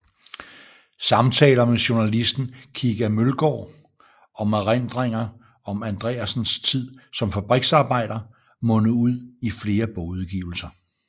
Samtaler med journalisten Kika Mølgaard om erindringer om Andreasens tid som fabriksarbejder mundede ud i flere bogudgivelser